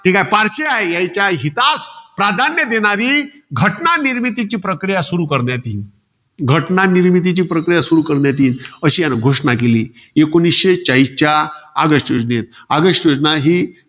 जे पारशी हाये, यांच्या हितास प्राधान्य देणारी, घटनानिर्मितीची प्रक्रिया सुरु करण्यात येईल. घटना निर्मितीची प्रक्रिया सुरु करण्यात येईल. अशी घोषणा करण्यात आली. एकोणीसशे चाळीसच्या ऑगस्ट योजनेत. ऑगस्ट योजना ही,